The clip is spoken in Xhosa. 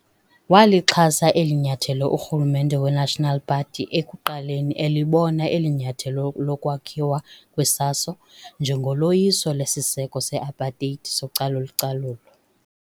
Walixhasa elinyathelo urhulumente weNational Party ekuqaleni elibona elinyathelo lokwakhiwa kweSASO njengoloyiso lesiseko se-apateyiti socalu-calulo.